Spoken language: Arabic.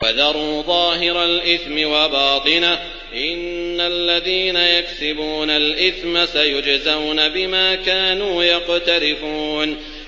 وَذَرُوا ظَاهِرَ الْإِثْمِ وَبَاطِنَهُ ۚ إِنَّ الَّذِينَ يَكْسِبُونَ الْإِثْمَ سَيُجْزَوْنَ بِمَا كَانُوا يَقْتَرِفُونَ